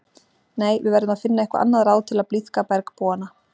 Nei, við verðum að finna eitthvað annað ráð til að blíðka bergbúana